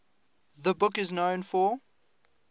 the book is known for